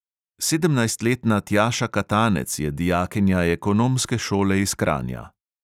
Sedemnajstletna tjaša katanec je dijakinja ekonomske šole iz kranja.